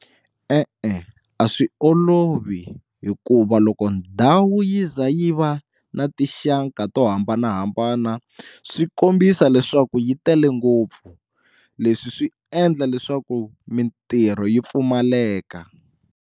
E-e a swi olovi hikuva loko ndhawu yi ze yi va na tinxaka to hambanahambana swi kombisa leswaku yi tele ngopfu leswi swi endla leswaku mintirho yi pfumaleka.